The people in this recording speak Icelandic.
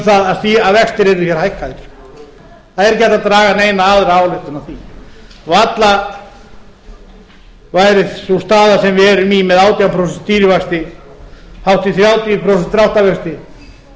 um það að vextir yrðu hér hækkaðir það er ekki hægt að draga neina aðra ályktun af því varla væri sú staða sem við erum í með átján prósent stýrivexti hátt í þrjátíu prósent dráttarvexti upp